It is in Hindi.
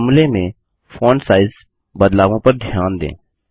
फ़ॉर्मूले में फ़ॉन्ट साइज़ बदलावों पर ध्यान दें